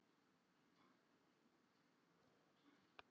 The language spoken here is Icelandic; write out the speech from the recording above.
Eru menn enn að nota toppbaráttuna sem gulrót?